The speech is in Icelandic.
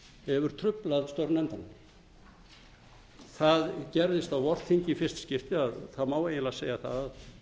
truflað störf nefndanna það gerðist á vorþingi í fyrsta skipti að þá má eiginlega segja það að